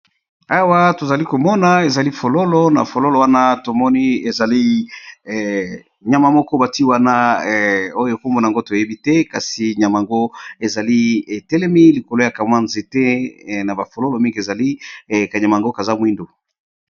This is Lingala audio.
Awa tozalikomona fololo, na fololo wana tomoni ka nyama batiye wana oyo kombo na yango toyebite pe kanyama oyo kazali moyindo.